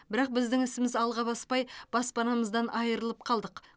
бірақ біздің ісіміз алға баспай баспанамыздан айырылып қалдық